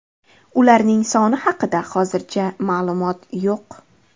Ularning soni haqida hozircha ma’lumot yo‘q.